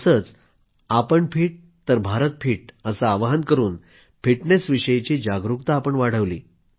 तसंच आपण फिट तर भारत फिट असं आवाहन करून फिटनेसविषयी जागरूकता वाढवली